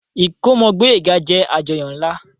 Ìkómọ Gboyega jẹ àjọyọ̀ nla.